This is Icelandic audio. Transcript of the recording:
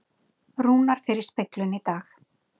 Rúnar fer í speglun í dag